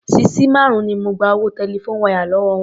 Sisí márùn-ún ni mo gba owó telephone wire lówó wọn.